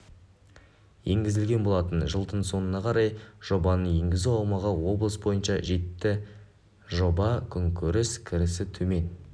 енгізілген болатын жылдың соңына қарай жобаны енгізу аумағы облыс бойынша жетті жоба күнкөріс кірісі төмен